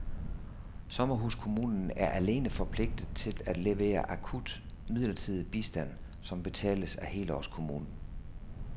Sommerhuskommunen er alene forpligtet til at levere akut midlertidig bistand som betales af helårskommunen.